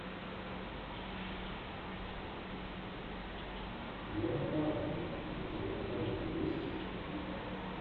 вера фармига у тебя в каталоге есть